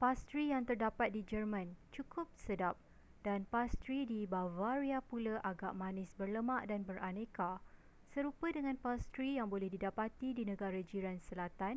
pastri yang terdapat di jerman cukup sedap dan pastri di bavaria pula agak manis berlemak dan beraneka serupa dengan pastri yang boleh didapati di negara jiran selatan